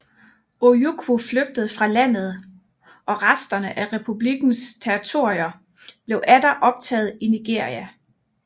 Ojukwu flygtede fra landet og resterne af republikkens territorier blev atter optaget i Nigeria